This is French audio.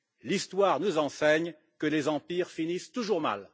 L'histoire nous enseigne que les empires finissent toujours mal.